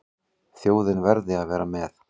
Þjóðin verði að vera með.